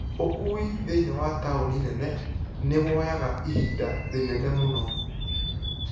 ukui thĩini wa taũni nene nĩwoyaga ihinda rĩnene mũno